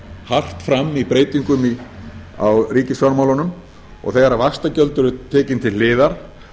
hart fram í breytingum á ríkisfjármálunum og þegar vaxtagjöld eru tekin til hliðar